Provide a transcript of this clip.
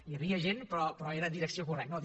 hi havia gent però era en direcció correcta